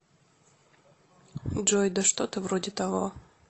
джой да что то вроде того